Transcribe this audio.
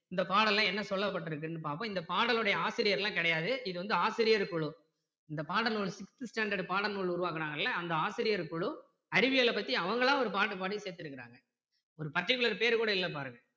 இந்த பாடல்ல என்ன சொல்லப்பட்டிருக்குன்னு பார்ப்போம் இந்த பாடலோட ஆசிரியர்லாம் கிடையாது இது வந்து ஆசிரியர் குழு இந்த பாடல் ஒரு sixth standard பாட நூல் உருவாக்குறாங்ள்ல அந்த ஆசிரியர் குழு அறிவியல் பத்தி அவங்களா ஒரு பாட்டு பாடி சேர்த்து இருக்கிறாங்க ஒரு particular பெயர் கூட இல்லை பாருங்க